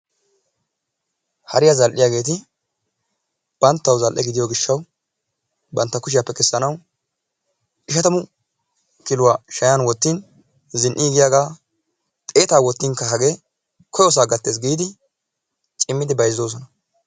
Hariya zal"iyageeti banttawu zal"e gidiyo gishshawu bantta kushiyappe kessanawu 50 kiluw shayan wottin zin"iigiyagaa 100 wottinkka hagge koyosaa gattees giidi cimmidi bayzzoosona.